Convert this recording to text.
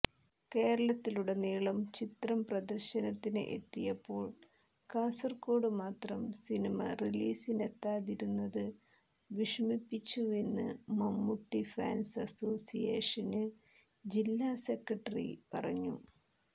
കേരളത്തിലുടനീളം ചിത്രം പ്രദർശനത്തിന് എത്തിയപ്പോൾ കാസർകോട് മാത്രം സിനിമ റിലീസിനെത്താതിരുന്നത് വിഷമിപ്പിച്ചുവെന്ന് മമ്മൂട്ടി ഫാന്സ് അസോസിയേഷന് ജില്ലാ സെക്രട്ടറി പറഞ്ഞു